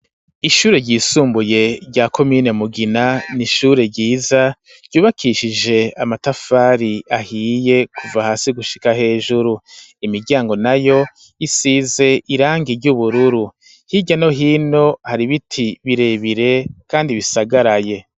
Ishure ryisumbuye rya komine Mugina, ni ishure ryiza ryubakishije amatafari ahiye kuva hasi gushika hejuru, imiryango nayo isize irangi ry'ubururu, hirya no hino hari ibiti birebire kandi bisagaraye.